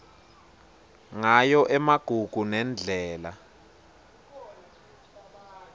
ngayo emagugu nendlela